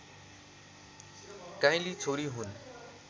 काइँली छोरी हुन्